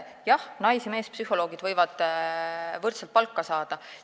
Jah, nais- ja meespsühholoogid võivad võrdset palka saada.